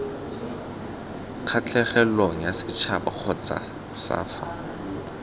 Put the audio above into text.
kgatlhegelong yasetšhaba kgotsa c fa